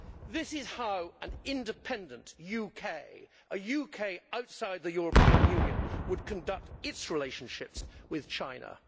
This is how an independent UK, a UK outside the European Union, would conduct its relationship with China.